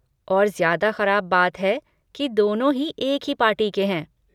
और ज्यादा खराब बात है कि दोनों ही एक ही पार्टी के हैं।